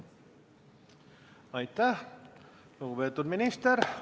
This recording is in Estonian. Aitäh, lugupeetud minister!